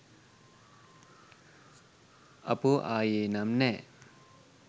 අපෝ ආයේ නම් නෑ